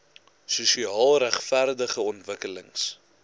sosiaal regverdige ontwikkelings